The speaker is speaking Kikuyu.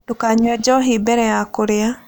Ndũkanyũe njohi mbere ya kũrĩa